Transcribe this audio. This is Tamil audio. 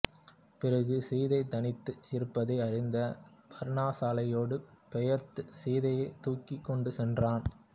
பிறகு சீதை தனித்து இருப்பதை அறிந்து பர்ணசாலையோடு பெயர்த்துச் சீதையை தூக்கிக் கொண்டு சென்றான்